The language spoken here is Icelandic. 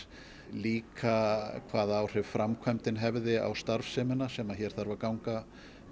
líka hvaða áhrif framkvæmdin hefði á starfsemina sem hér þarf að ganga